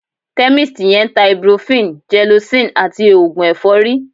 Chemist yẹn ń ta ibuprofen, gelocin àti oògùn ẹ̀fọ́rí